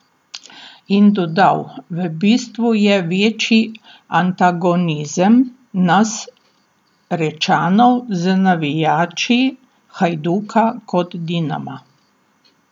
In dodal: "V bistvu je večji antagonizem nas Rečanov z navijači Hajduka kot Dinama.